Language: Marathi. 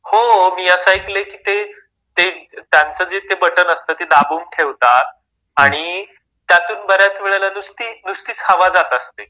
हो मी असा ऐकले की त्यांचं जे ते बटन असतं ते दाबून ठेवतात आणि त्यातून बऱ्याच वेळेला नुसती, नुसतीच हवा जात असते.